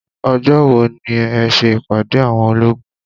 Ọjọ́ wo ni ẹ ṣe ìpàdé àwọn olóògùn.